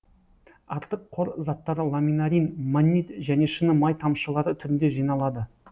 артық қор заттары ламинарин маннит және шыны май тамшылары түрінде жиналады